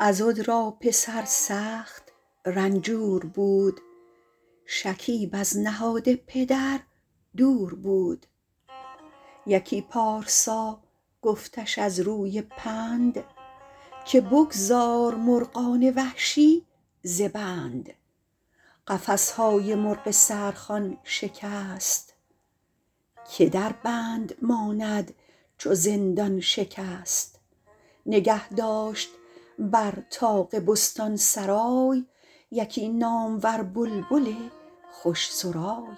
عضد را پسر سخت رنجور بود شکیب از نهاد پدر دور بود یکی پارسا گفتش از روی پند که بگذار مرغان وحشی ز بند قفس های مرغ سحر خوان شکست که در بند ماند چو زندان شکست نگه داشت بر طاق بستان سرای یکی نامور بلبل خوش سرای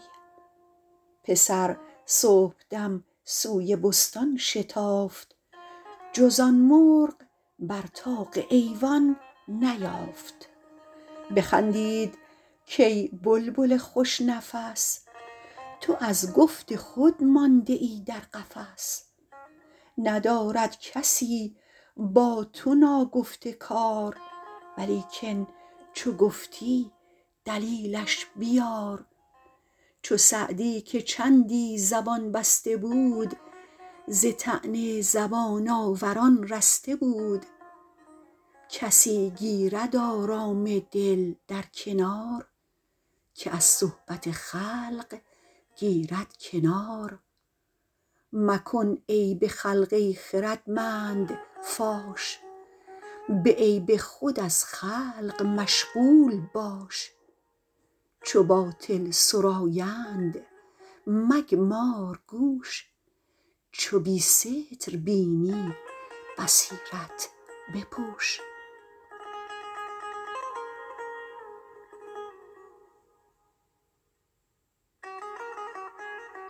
پسر صبحدم سوی بستان شتافت جز آن مرغ بر طاق ایوان نیافت بخندید کای بلبل خوش نفس تو از گفت خود مانده ای در قفس ندارد کسی با تو ناگفته کار ولیکن چو گفتی دلیلش بیار چو سعدی که چندی زبان بسته بود ز طعن زبان آوران رسته بود کسی گیرد آرام دل در کنار که از صحبت خلق گیرد کنار مکن عیب خلق ای خردمند فاش به عیب خود از خلق مشغول باش چو باطل سرایند مگمار گوش چو بی ستر بینی بصیرت بپوش